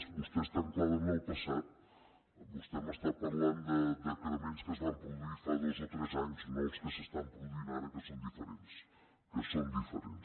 vostè està anclada en el passat vostè m’està parlant de decrements que es van produir fa dos o tres anys no els que s’estan produint ara que són diferents que són diferents